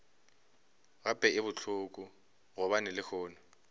gape e bohloko gobane lehono